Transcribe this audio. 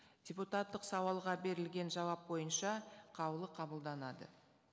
депутаттық сауалға берілген жауап бойынша қаулы қабылданады